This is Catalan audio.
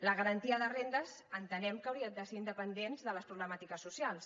la garantia de rendes entenem que hauria de ser independent de les problemàtiques socials